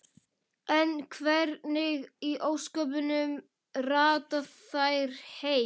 En hvernig í ósköpunum rata þær heim?